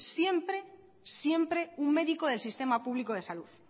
siempre siempre un médico del sistema público de salud